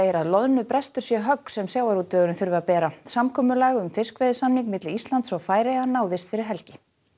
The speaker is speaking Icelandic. að loðnubrestur sé högg sem sjávarútvegurinn þurfi að bera samkomulag um fiskveiðisamning milli Íslands og Færeyja náðist fyrir helgi